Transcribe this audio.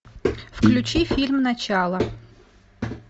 включи фильм начало